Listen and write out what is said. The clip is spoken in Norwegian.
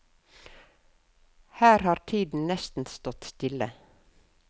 Her har tiden nesten stått stille.